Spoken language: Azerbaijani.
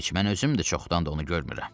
Heç mən özüm də çoxdandır onu görmürəm.